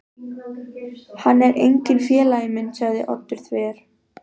Hann er enginn félagi minn sagði Oddur þver